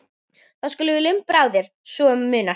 Þá skulum við lumbra á þér svo um munar